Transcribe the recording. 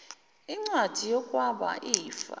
incwadi yokwaba ifa